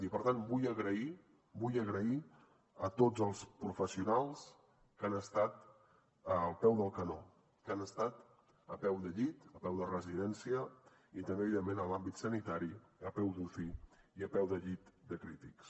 i per tant vull donar les gràcies a tots els professionals que han estat al peu del canó que han estat a peu de llit a peu de residència i també evidentment en l’àmbit sanitari a peu d’uci i a peu de llit de crítics